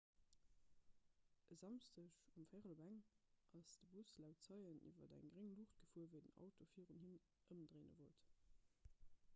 e samschdeg um 1.15 auer ass de bus laut zeien iwwer eng gréng luucht gefuer wéi den auto virun him ëmdréine wollt